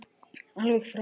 Alveg frábær.